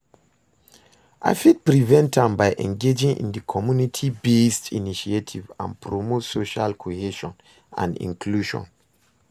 i fit prevent am by engaging in di community-based initiatives and promote social cohesion and inclusion.